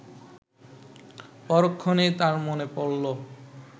পরক্ষণেই তার মনে পড়ল